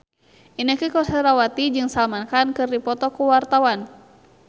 Inneke Koesherawati jeung Salman Khan keur dipoto ku wartawan